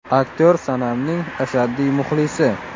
Aktyor Sonamning ashaddiy muxlisi.